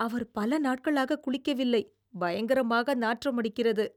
அவர் பல நாட்களாக குளிக்கவில்லை, பயங்கரமாக நாற்றமடிக்கிறது.